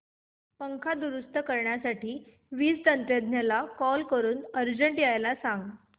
पंखा दुरुस्त करण्यासाठी वीज तंत्रज्ञला कॉल करून अर्जंट यायला सांग